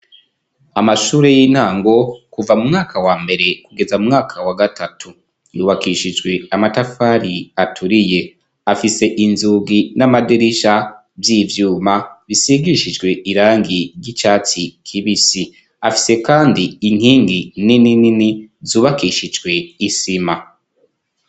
Amashure y'intango kuva mu mwaka wa mbere kugeza mu mwaka wa gatatu yubakishijwe amatafari aturiye afise inzugi n'amadirisha vy'ivyuma bisigishijwe irangi ry'icatsi k'ibisi afise kandi inkingi nininini zubakishijwe isima.